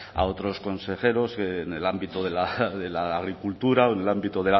a otros consejeros en el ámbito de la agricultura o en el ámbito